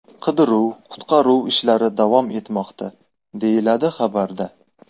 Qidiruv-qutqaruv ishlari davom etmoqda”, deyiladi xabarda.